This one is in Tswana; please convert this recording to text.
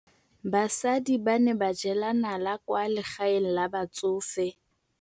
Basadi ba ne ba jela nala kwaa legaeng la batsofe.